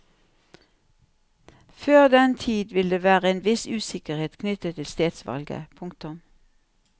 Før den tid vil det være en viss usikkerhet knyttet til stedsvalget. punktum